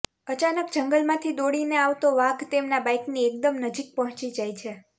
અચાનક જંગલમાંથી દોડીને આવતો વાઘ તેમના બાઈકની એકદમ નજીક પહોંચી જાય છે